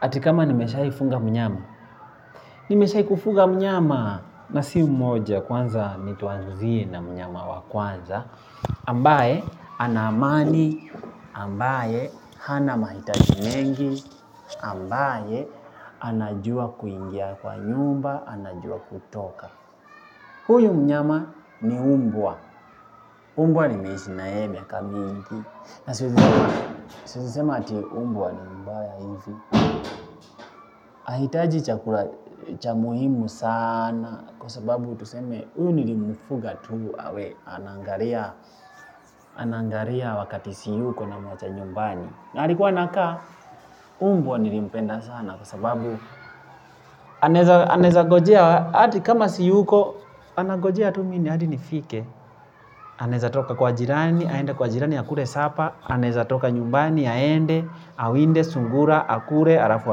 Ati kama nimeshaifunga mnyama. Nimeshaifunga mnyama na si mmoja kwanza nituanzie na mnyama wa kwanza ambaye ana mani, ambaye hana mahitaji mengi, ambaye anajua kuingia kwa nyumba, anajua kutoka. Huyu mnyama ni umbwa. Umbwa nimeishi na yeye miaka mingi. Na siwezi ati mbwa ni mbaya ivi. Ahitaji chakula cha muhimu sana kwa sababu tuseme huyu nilimfuga tu awe. Anaangalia wakati siyuko namwacha nyumbani. Na alikuwa anakaa umbwa nilimpenda sana kwa sababu anaeza ngojea hadi kama siyuko. Anagojea tu mi ni hadi nifike. Aneza toka kwa jirani. Aende kwa jirani akule sapa. Aneza toka nyumbani aende. Awinde sungura akule alafu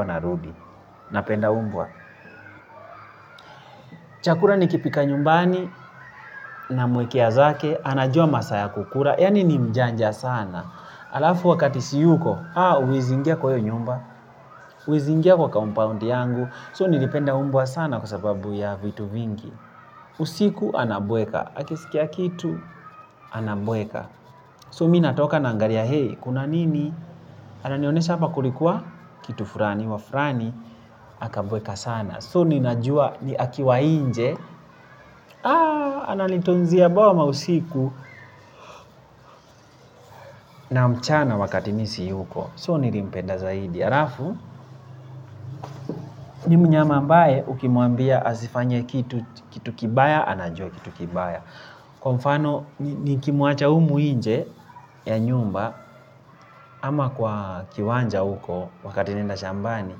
anarudi. Napenda umbwa. Chakula nikipika nyumbani. Namwekea zake. Anajua masaa ya kukula. Yani ni mjanja sana alafu wakati siyuko huezi ingia kwa iyo nyumba. Uezi ingia kwa compound yangu So nilipenda umbwa sana kwa sababu ya vitu vingi. Usiku anabweka. Akisikia kitu anabweka. So mi natoka naangalia, hey, kuna nini? Ananionesha hapa kulikuwa? Kitu fulani, wafulani akabweka sana. So ninajua ni akiwa nje ananitunzia boma usiku na mchana wakati mi siyuko. So nilimpenda zaidi. Alafu, ni mnyama ambaye ukimwambia asifanye kitu kibaya, anajua kitu kibaya. Kwa mfano, nikimuacha umu nje ya nyumba ama kwa kiwanja uko wakati naenda shambani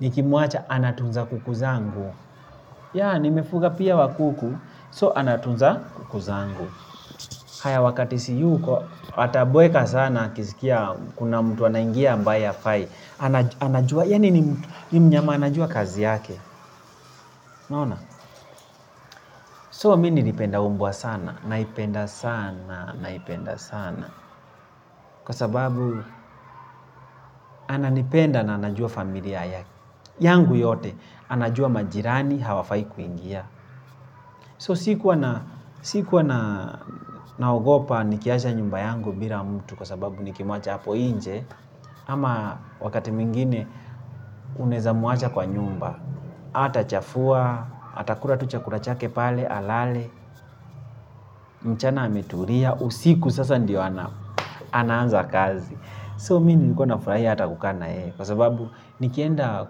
nikimuacha anatunza kuku zangu yaa nimefuga pia wakuku so anatunza kuku zangu haya wakati siyuko atabweka sana akiskia kuna mtu anaingia ambaye hafai anajua yaani ni mnyama anajua kazi yake so mini nilipenda umbwa sana naipenda sana naipenda sana kwa sababu ananipenda na anajua familia yake yangu yote anajua majirani. Hawafai kuingia So sikuwa naogopa. Nikiacha nyumba yangu bila mtu kwa sababu nikimuacha hapo nje. Ama wakati mwingine unaeza muacha kwa nyumba. Hatachafua atakula tu chakula chake pale. Alale, mchana ametulia. Usiku sasa ndiyo anaanza kazi So mimi nilikuwa nafurahii. Hata kukana hei kwa sababu nikienda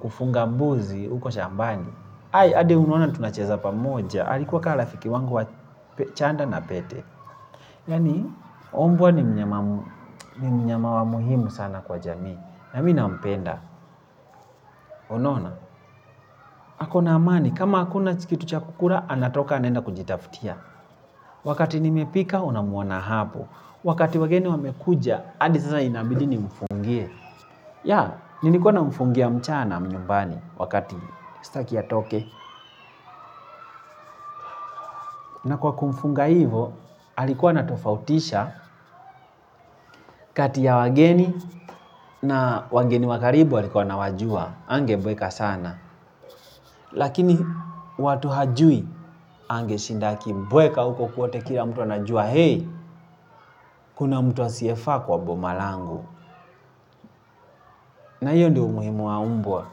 kufunga mbuzi. Huko shambani Hade unuona tunacheza pamoja alikuwa kala fiki wangu wa chanda na pete. Yani, umbwa ni mnyama wa muhimu sana kwa jami. Na mi nampenda. Unaona, hako na amani. Kama hakuna cha kukula, anatoka anaenda kujitaftia. Wakati nimepika, unamuona hapo. Wakati wageni wamekuja, adi sasa inabidi nimfungie. Ya, nilikuwa namfungia mchana mnyumbani wakati staki atoke. Na kwa kumfunga hivo, alikuwa anatofautisha kati ya wageni na wageni wa karibu alikuwa anawajua hangebweka sana. Lakini watu hajui. Angeshinda akibweka huko kote kila mtu anajua. Hei, kuna mtu asiyefaa kwa boma langu. Na hiyo ndi umuhimu wa umbwa.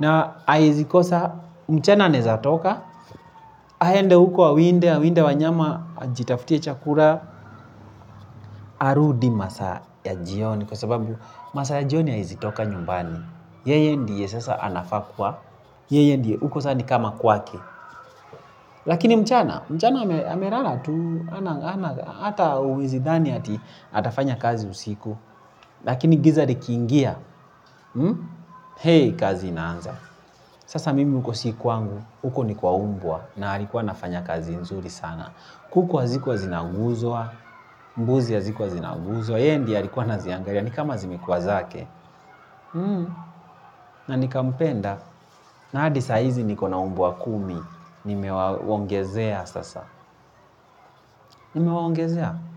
Na haezi kosa mchana aneza toka. Haende huko awinde, awinde wanyama ajitaftie chakula harudi masaa ya jioni. Kwa sababu masaa ya jioni haezi toka nyumbani. Yeye ndiye sasa anafaa kuwa, yeye ndiye uko sasa ni kama kwake. Lakini mchana, mchana amelala tu, ata uezi dhani atafanya kazi usiku. Lakini giza likiingia, heii kazi inaanza. Sasa mimi uko si kwangu, uko ni kwa umbwa na alikuwa anafanya kazi nzuri sana. Kuku hazikuwa zinaguzwa, mbuzi hazikuwa zinaguzwa. Yeye ndiye alikuwa anaziangalia, nikama zimikuwa zake. Na nikampemda. Na hadi saizi nikona umbwa kumi. Nimewaongezea sasa. Nimewapngezea.